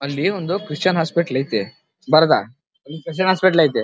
ಅಲ್ಲಿ ಒಂದು Christian hospital ಆಯ್ತೆ ದರ್ಗ್ ಇಲ್ಲಿ ಕ್ರಿಶ್ಚನ್ ಹಾಸ್ಪಿಟಲ್ ಆಯ್ತೆ.